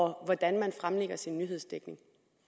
hvordan man tilrettelægger sin nyhedsdækning